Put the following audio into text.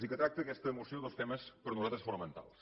i que tracta aquesta moció dos temes per a nosaltres fonamentals